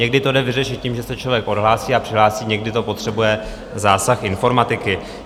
Někdy to jde vyřešit tím, že se člověk odhlásí a přihlásí, někdy to potřebuje zásah informatiky.